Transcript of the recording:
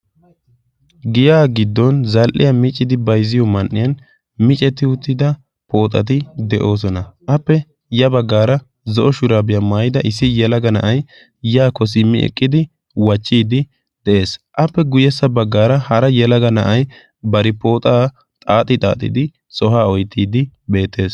giya giddon zal77iya micidi baizziyo man77iyan micetti uttida pooxati de7oosona. appe ya baggaara zo7o shuraabiyaa maayida issi yalaga na7ai yaakko simmi eqqidi wachchiiddi de7ees. appe guyyessa baggaara hara yalaga na7ai bari pooxaa xaaxi xaaxidi sohaa oittiiddi beettees.